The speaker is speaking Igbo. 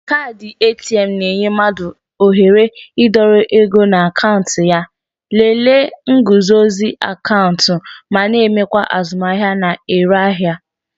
Kaadị ATM na-enye mmadụ ohere ịdọrọ ego na akaụntụ ya, lelee nguzozi akaụntụ ma na-emekwa azụmahịa na-ere ahịa